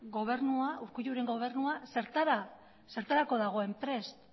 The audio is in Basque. urkulluren gobernuak zertarako dagoen prest